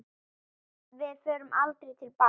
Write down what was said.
Við förum aldrei til baka.